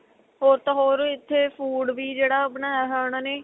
ਹੋਰ ਤਾਂ ਹੋਰ ਇੱਥੇ food ਵੀ ਜਿਹੜਾ ਬਣਾਇਆ ਹੋਇਆ ਉਨ੍ਹਾਂ ਨੇ